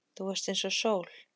Þú varst eins og sól.